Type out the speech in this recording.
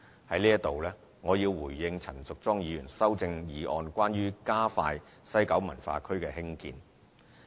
在此，我要回應陳淑莊議員修正案關於加快西九文化區興建的建議。